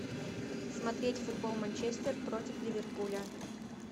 смотреть футбол манчестер против ливерпуля